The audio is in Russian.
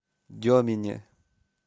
демине